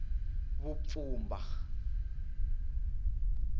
vupfhumba